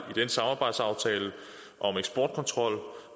den samarbejdsaftale om eksportkontrol